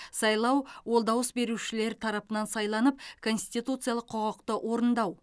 сайлау ол дауыс берушілер тарапынан сайланып конституциялық құқықты орындау